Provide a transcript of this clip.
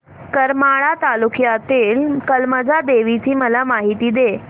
करमाळा तालुक्यातील कमलजा देवीची मला माहिती दे